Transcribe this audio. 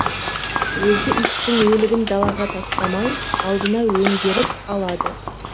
өзі иттің өлігін далаға тастамай алдына өңгеріп алады